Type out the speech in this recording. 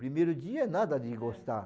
Primeiro dia nada de gostar.